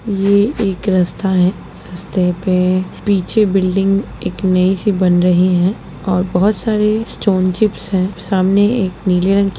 ये एक रास्ता है। रस्ते पे पीछे बिल्डिंग एक नई सी बन रही है और बहुत सारी स्टोन चिप्स हैं सामने एक नीले रंग की --